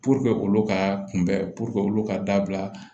olu ka kunbɛ olu ka dabila